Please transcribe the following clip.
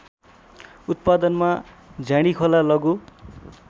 उत्पादनमा झ्याँडीखोला लघु